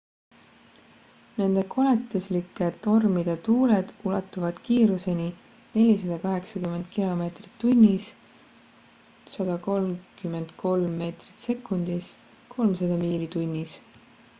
nende koletislike tormide tuuled ulatuvad kiiruseni 480 km/h 133 m/s; 300 miili tunnis